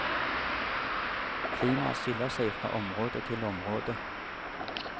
Klimaet skiller seg fra område til område.